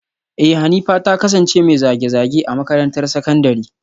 Eh Hanifa ta kasance mai zage-zage a makarantar sakandare